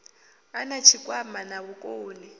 a na tshikwama na vhukoni